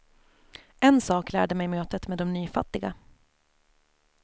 En sak lärde mig mötet med de nyfattiga.